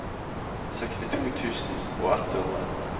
sekstito tusen og ett hundre